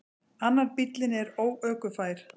Annar bíllinn er óökufær.